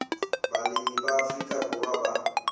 balemi ba afrika borwa ba